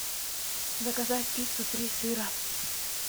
заказать пиццу три сыра